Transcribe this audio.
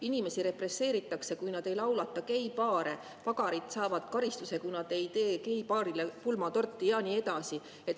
Inimesi represseeritakse, kui nad ei laulata geipaare, pagarid saavad karistuse, kui nad ei tee geipaarile pulmatorti, ja nii edasi.